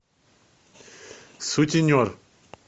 сутенер